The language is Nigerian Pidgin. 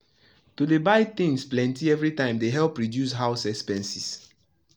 to dey buy things plenty everytime dey help reduce house expenses.